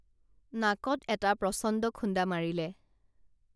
নাকত এটা প্ৰচণ্ড খুণ্ডা মাৰিলে